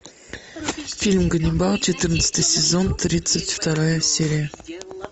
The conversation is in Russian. фильм ганнибал четырнадцатый сезон тридцать вторая серия